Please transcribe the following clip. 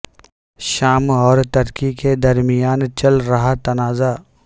شام اور ترکی کے درمیان چل رہا تنازعہ